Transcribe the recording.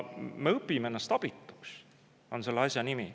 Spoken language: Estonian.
Me õpime ennast abituks, on selle asja nimi.